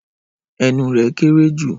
Ẹnu rẹ̀ kéerée jù.